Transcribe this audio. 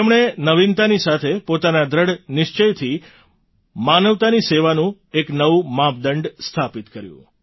તેમણે નવીનતાની સાથે પોતાના દૃઢ નિશ્ચયથી માનવતાની સેવાનું એક નવું માપદંડ સ્થાપિત કર્યું